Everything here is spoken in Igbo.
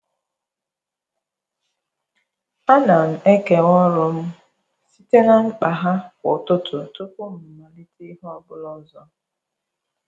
A na m m ekewa ọrụ m site na mkpa ha kwa ụtụtụ tupu m amalite ihe ọ bụla ọzọ.